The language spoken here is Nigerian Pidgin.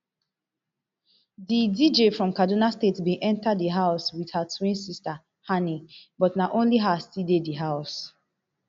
di dj from kaduna state bin enta di house wit her twin sister hanni but na only her still dey house